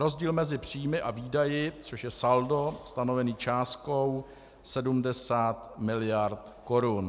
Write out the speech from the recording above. rozdíl mezi příjmy a výdaji, což je saldo stanovené částkou 70 miliard korun.